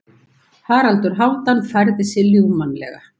Haraldur Hálfdán færði sig ljúfmannlega.